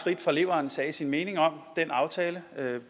frit fra leveren sagde sin mening om den aftale